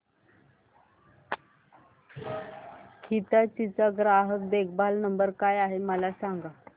हिताची चा ग्राहक देखभाल नंबर काय आहे मला सांगाना